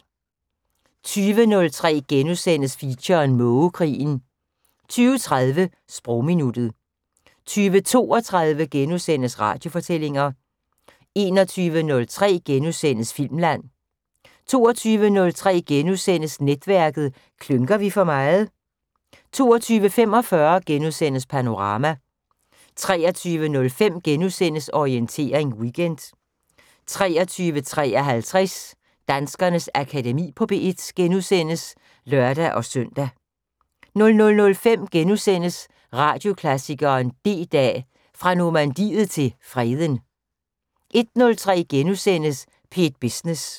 20:03: Feature: Mågekrigen * 20:30: Sprogminuttet 20:32: Radiofortællinger * 21:03: Filmland * 22:03: Netværket: Klynker vi for meget? * 22:45: Panorama * 23:05: Orientering Weekend * 23:53: Danskernes Akademi på P1 *(lør-søn) 00:05: Radioklassikeren: D-Dag, fra Normandiet til Freden * 01:03: P1 Business *